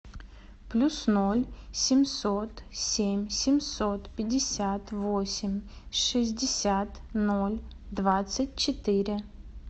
плюс ноль семьсот семь семьсот пятьдесят восемь шестьдесят ноль двадцать четыре